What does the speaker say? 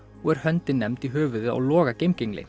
og er höndin nefnd í höfuðið á Loga